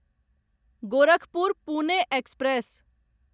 Gorakhpur Pune express